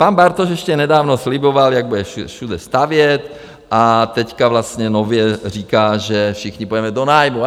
Pan Bartoš ještě nedávno sliboval, jak bude všude stavět, a teď vlastně nově říká, že všichni půjdeme do nájmu.